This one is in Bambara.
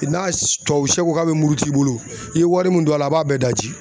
I n'a tuwawu siyɛ ko ka be muruti i bolo i ye wari min don a la a b'a bɛɛ daji.